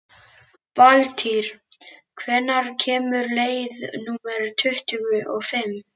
Valtýr, hvenær kemur leið númer tuttugu og fimm?